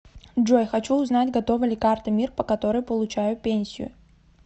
джой хочу узнать готова ли карта мир по которой получаю пенсию